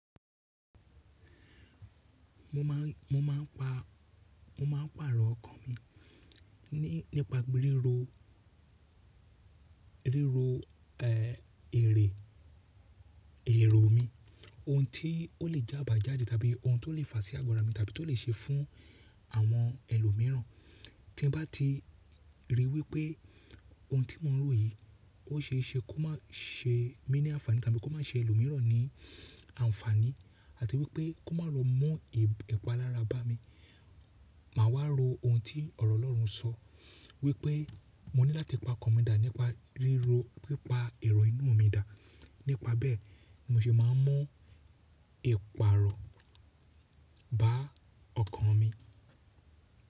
Mo máà, mo máà pa, mo máà pàrọ̀ ọkàn mi nípa ríro, ríro ẹ, èrè, èrò mi. Ohun tí ó lè je ábàjáde tàbí ohun tó lè fà sí àgọ́ra mi tàbí tó lè ṣe fún àwọn ẹlòmíràn. Tí n bá ti ríi wípé ohun tí mò ń rò yìí, ó ṣe é ṣe kó má ṣe mí ní àǹfààní tàbí kó má ṣe ẹlòmíràn ní àǹfààní àti wípé kó má lọ mú ipà lára bá mi. Màá wá ro ohun tí ọ̀rọ̀ Ọlọ́run sọ wípé, mo ní láti pa ọkàn mi dà nípa ríro, wípá èrò inú mi dà. Nípa bẹ́ẹ̀ ni mo ṣe máa ń mú ìpààrọ̀ bá ọkàn mi.